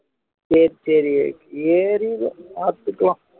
சரி சரி ஏறிரும் பார்த்துக்கலாம்